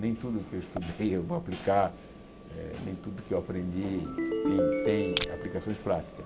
Nem tudo que eu estudei eu vou aplicar, eh nem tudo que eu aprendi tem tem aplicações práticas.